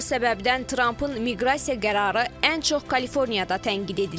Bu səbəbdən Trampın miqrasiya qərarı ən çox Kaliforniyada tənqid edilir.